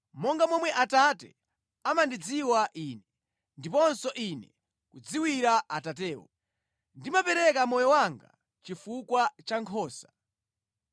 monga momwe Atate amandidziwa Ine, ndiponso Ine kudziwira Atatewo. Ndimapereka moyo wanga chifukwa cha nkhosa.